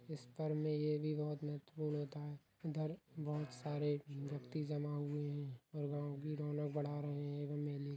इस पर्व मे ये भी बहुत महत्वपूर्ण होता है इधर बहुत सारे व्यक्ति जमा हुए हैं और गांव की रौनक भड़ा रहे है एवं मेले --